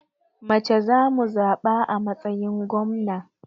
Mace za mu zaɓa a matsayin gwamna.